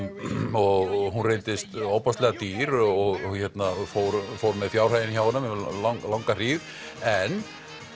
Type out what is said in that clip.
og hún reyndist ofboðslega dýr og fór fór með fjárhaginn hjá honum um langa hríð en